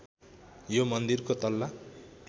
यो मन्दिरको तल्ला